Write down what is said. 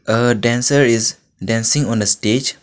a dancer is dancing on a stage.